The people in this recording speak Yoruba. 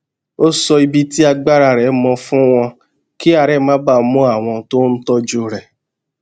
ó sọ ibi tí agbára rè mọ fún wọn kí àárè má bàa mú àwọn tó ń tójú rẹ